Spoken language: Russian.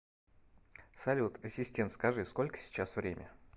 салют ассистент скажи сколько сейчас время